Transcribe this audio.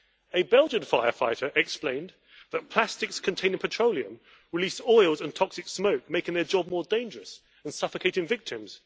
A Belgian firefighter explained that plastics containing petroleum release oils and toxic smoke, making their job more dangerous and suffocating victims.